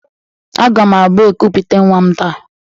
Aga m abụ ekupute nwa m taa